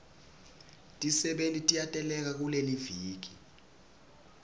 tisebenti tiyateleka kuleliviki